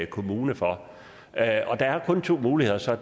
kommune for der er kun to muligheder så